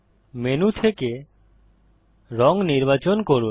menu থেকে রং নির্বাচন করুন